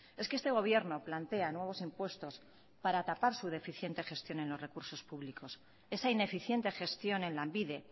es que este gobierno plantea nuevos impuestos para tapar su deficiente gestión en los recursos públicos esa ineficiente gestión en lanbide